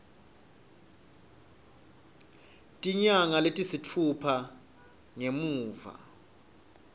tinyanga letisitfupha ngemuva